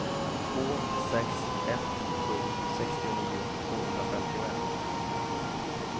två sex ett sju sextionio tvåhundrafemtioett